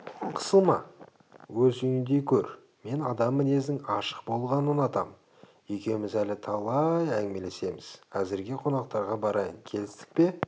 қысылма өз үйіңдей көр мен адам мінезінің ашық болғанын ұнатам екеуміз әлі талай әңгімелесеміз әзірге қонақтарға барайын келістік пе